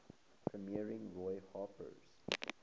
premiering roy harper's